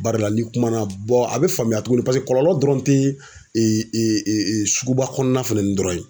Barila ni kuma na a bɛ faamuya tuguni paseke kɔlɔlɔ dɔrɔn te suguba kɔnɔna fɛn ni dɔrɔn ye.